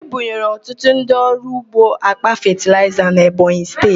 Ebunyere ọtụtụ ndị ọrụ ugbo àkpà fetịlaịza n'Ebonyi Steeti.